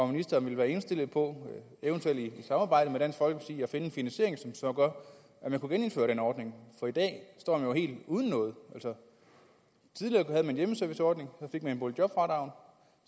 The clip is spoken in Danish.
ministeren være indstillet på eventuelt i samarbejde med dansk folkeparti at finde en finansiering som gør at man kunne genindføre den ordning for i dag står man jo helt uden noget altså tidligere havde man en hjemmeserviceordning og så fik man boligjobfradragene